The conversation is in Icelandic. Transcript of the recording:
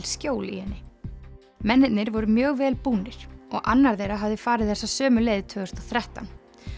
skjóls í henni mennirnir voru mjög vel búnir og annar þeirra hafði farið þessa sömu leið tvö þúsund og þrettán